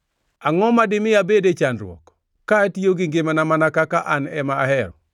Angʼo madimi abed e chandruok, ka atiyo gi ngimana mana kaka an ema ahero?